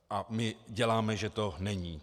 A my děláme, že to není.